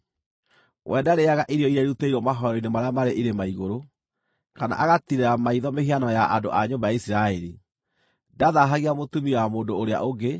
“We ndarĩĩaga irio iria irutĩirwo mahooero-inĩ marĩa marĩ irĩma igũrũ, kana agatiirĩra maitho mĩhianano ya andũ a nyũmba ya Isiraeli. Ndathaahagia mũtumia wa mũndũ ũrĩa ũngĩ.